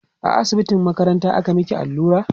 a asibitin makaranta aka maki allura?